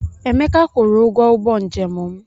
Emeka kwụrụ ụgwọ ụgbọ njem m.